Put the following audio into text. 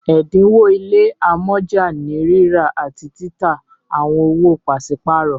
ẹdinwo ile amọja ni rírà àti títà àwọn owo paṣipaarọ